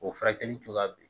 O furakɛli cogoya be ye